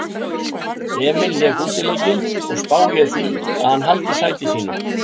Emil lék útileikinn og spái ég því að hann haldi sæti sínu.